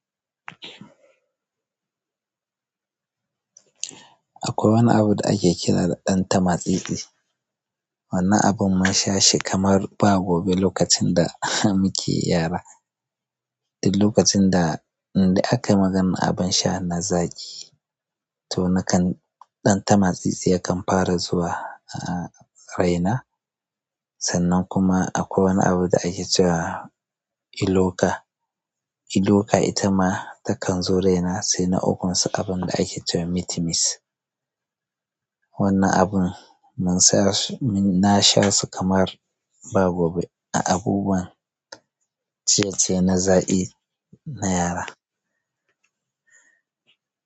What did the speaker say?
Akwai wani abu da ake kira da ɗan tamatsiɗi. Wannan abun mun sha shi kamar ba gobe lokacin da muke yara. Lokacin da indai akai magana abin sha na zaƙi to nakan ɗan tamatsitsi yakan fara zuwa araina. Sannan kuma akwai wani abu da ake cewa iloka. Iloka ita ma takan zo raina sai na ukunsu abin da ake cewa mitimis. Wannan abun mun sha shi, na sha su kamar ba gobe a abubuwan ciye-ciye na zaƙi, na yara.